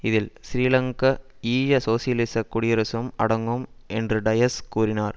இதில் ஸ்ரீலங்கா ஈழ சோசியலிசக் குடியரசும் அடங்கும் என்று டயஸ் கூறினார்